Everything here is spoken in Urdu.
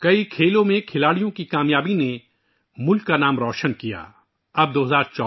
دیگر کئی کھیلوں میں کھلاڑیوں کی کامیابیوں نے ملک کی شان میں اضافہ کیا